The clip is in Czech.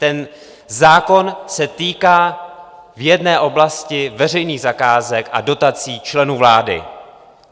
Ten zákon se týká v jedné oblasti veřejných zakázek a dotací členů vlády.